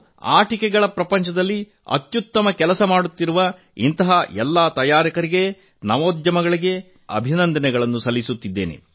ಆಟಿಕೆಗಳ ಜಗತ್ತಿನಲ್ಲಿ ಅತ್ಯುತ್ತಮ ಕೆಲಸ ಮಾಡುತ್ತಿರುವ ಇಂತಹ ಎಲ್ಲಾ ತಯಾರಕರಿಗೆ ನವೋದ್ಯಮಗಳಿಗೆ ನಾನು ಅಭಿನಂದನೆ ಸಲ್ಲಿಸುತ್ತಿದ್ದೇನೆ